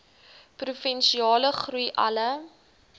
provinsiale groei alle